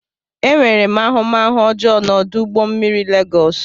Enwere m ahụmahụ ọjọọ na ọdụ ụgbọ mmiri Lagos.